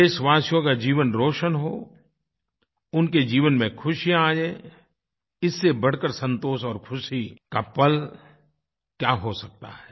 देशवासियो का जीवन रोशन हो उनके जीवन में खुशियाँ आएँ इससे बढकर संतोष और ख़ुशी का पल क्या हो सकता है